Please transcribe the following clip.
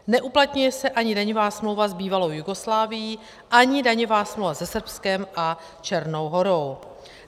Neuplatňuje se ani daňová smlouva s bývalou Jugoslávií, ani daňová smlouva se Srbskem a Černou Horou.